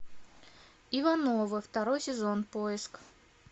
ивановы второй сезон поиск